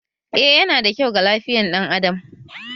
Eh, yana da kyau ga lafiyan dan Adam